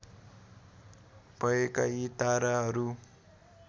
भएका यी ताराहरू